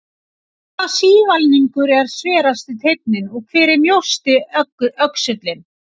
Hvaða sívalningur er sverasti teinninn og hver er mjósti öxullinn?